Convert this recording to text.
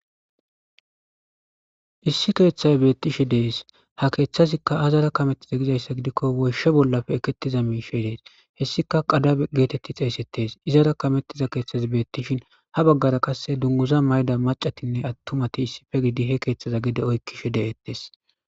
Issi keeththey beeththishe de7ees;ha keeththazikka aazaara kameththize gizayssa gidikko woyshsha bollape ekeththiza miishshi des;hessika qadabe geetheththi xeeseththes;izaara kameththiza keeththathi beeththishin ha baggara qassi dungguza mayida maccathinne aththumathi issipe gidi he keeththaza gede oykkishe de7eeththes.